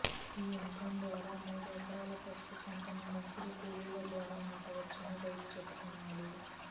ఈ యంత్రం ద్వార మూడు ఎకరాల పసుపు పంటను ముగ్గురు కూలీల ద్వార నాటవచ్చని రైతు చెబుతున్నాడు